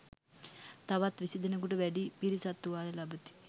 තවත් විසි දෙනෙකුට වැඩි පිරිසක් තුවාල ලබති.